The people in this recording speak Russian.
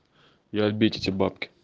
и отбить эти бабки